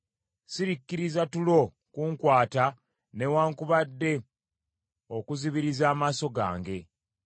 Sirikkiriza tulo kunkwata newaakubadde okuzibiriza amaaso gange,